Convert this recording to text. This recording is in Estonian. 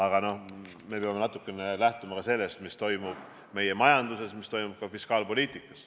Aga me peame lähtuma ka sellest, mis toimub meie majanduses, mis toimub fiskaalpoliitikas.